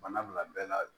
Bana bila bɛɛ la